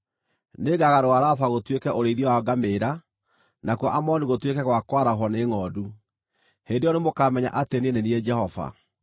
Nĩngagarũra Raba gũtuĩke ũrĩithio wa ngamĩĩra, nakuo Amoni gũtuĩke gwa kwarahwo nĩ ngʼondu. Hĩndĩ ĩyo nĩmũkamenya atĩ niĩ nĩ niĩ Jehova.